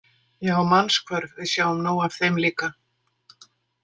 Já, mannshvörf, við sjáum nóg af þeim líka.